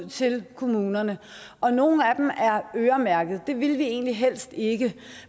til kommunerne og nogle af dem er øremærket det ville vi egentlig helst ikke